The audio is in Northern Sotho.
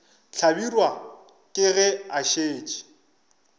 hlabirwa ke ge a šetše